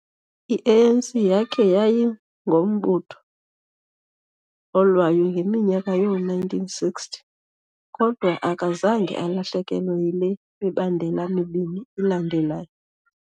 I-ANC yakhe yayingombutho olwayo ngeminyaka yoo-1960s, kodwa akazange alahlekelwe yile mibandela mibini ilandelayo.